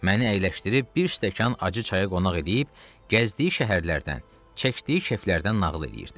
Məni əyləşdirib bir stəkan acı çayı qonaq eləyib, gəzdiyi şəhərlərdən, çəkdiyi keflərdən nağıl eləyirdi.